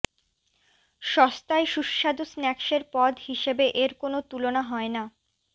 সস্তায় সুস্বাদু স্ন্যাক্সের পদ হিসেবে এর কোনও তুলনা হয় না